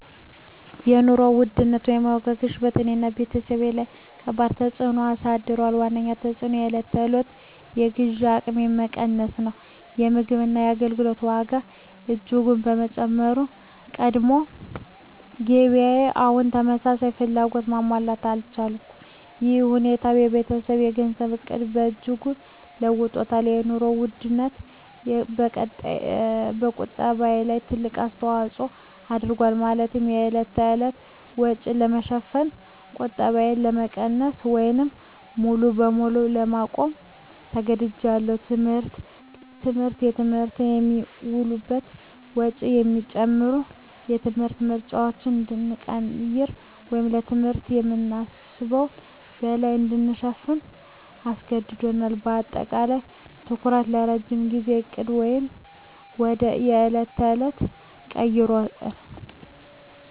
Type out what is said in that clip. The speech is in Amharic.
የኑሮ ውድነት (የዋጋ ግሽበት) በእኔና በቤተሰቤ ላይ ከባድ ተፅዕኖ አሳድሯል። ዋነኛው ተፅዕኖ የዕለት ተዕለት የግዢ አቅሜ መቀነስ ነው። የምግብና የአገልግሎት ዋጋ በእጅጉ በመጨመሩ፣ የቀድሞ ገቢዬ አሁን ተመሳሳይ ፍላጎቶችን ማሟላት አልቻለም። ይህ ሁኔታ የቤተሰቤን የገንዘብ ዕቅድ በእጅጉ ለውጦታል - የኑሮ ውድነቱ በቁጠባዬ ላይ ትልቅ አስተዋጽኦ አድርጓል፤ ማለትም የዕለት ተዕለት ወጪን ለመሸፈን ቁጠባዬን ለመቀነስ ወይም ሙሉ በሙሉ ለማቆም ተገድጃለሁ። ትምህርት: ለትምህርት የሚውለው ወጪ በመጨመሩ፣ የትምህርት ምርጫዎችን እንድንቀይር ወይም ለትምህርት ከምናስበው በላይ እንድንከፍል አስገድዶናል። በአጠቃላይ፣ ትኩረታችን ከረጅም ጊዜ ዕቅድ ወደ የዕለት ተዕለት ተቀይሯል።